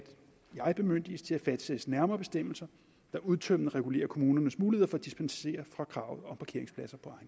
jeg bemyndiges til at fastsætte nærmere bestemmelser der udtømmende regulerer kommunernes muligheder for at dispensere fra kravet om parkeringspladser på